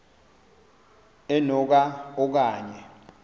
eno ka okanye